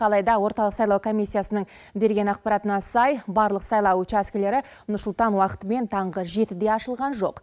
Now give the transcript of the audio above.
алайда орталық сайлау комиссиясының берген ақпаратына сай барлық сайлау учаскелері нұр сұлтан уақытымен таңғы жетіде ашылған жоқ